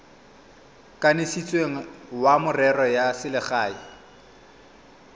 kanisitsweng wa merero ya selegae